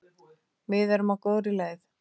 Við erum á góðri leið.